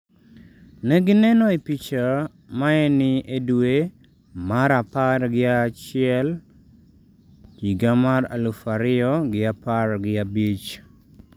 ne gineno e picha maeni e dwe mar apar gi achiel higa mar alafu ariyogi apargi abich.